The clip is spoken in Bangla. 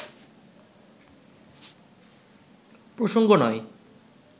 প্রসঙ্গ নয়